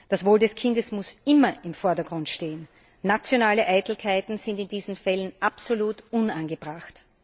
Das Wohl des Kindes muss immer im Vordergrund stehen. Nationale Eitelkeiten sind in diesen Fällen absolut unangebracht.